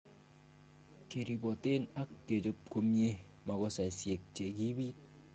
Keripoten ak kechob komie makosaisiek che kiibit.